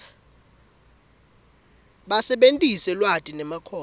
basebentise lwati nemakhono